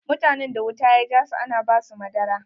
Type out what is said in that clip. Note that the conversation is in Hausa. Mutanen da wuta ya jasu ana ba su madara.